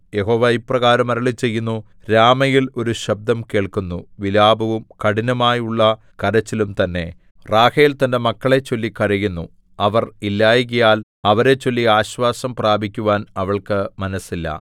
യഹോവ ഇപ്രകാരം അരുളിച്ചെയ്യുന്നു രാമയിൽ ഒരു ശബ്ദം കേൾക്കുന്നു വിലാപവും കഠിനമായുള്ള കരച്ചിലും തന്നെ റാഹേൽ തന്റെ മക്കളെച്ചൊല്ലി കരയുന്നു അവർ ഇല്ലായ്കയാൽ അവരെച്ചൊല്ലി ആശ്വാസം പ്രാപിക്കുവാൻ അവൾക്കു മനസ്സില്ല